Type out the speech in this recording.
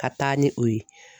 Ka taa ni o ye